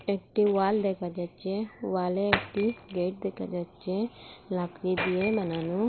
একটি ওয়াল দেখা যাচ্ছে ওয়ালে একটি গেট দেখা যাচ্ছে লাকড়ি দিয়ে বানানো।